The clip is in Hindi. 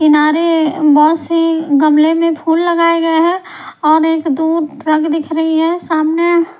किनारे बस से गमले में फूल लगाए गए हैं और एक दूर ट्रक दिख रही है सामने--